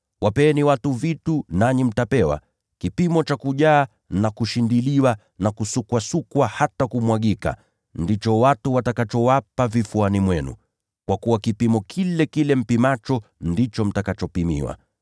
Wapeni watu vitu, nanyi mtapewa. Kipimo cha kujaa na kushindiliwa na kusukwasukwa hata kumwagika, ndicho watu watakachowapa vifuani mwenu. Kwa kuwa kipimo kile mpimacho, ndicho mtakachopimiwa.”